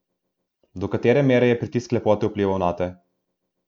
Do katere mere je pritisk lepote vplival nate?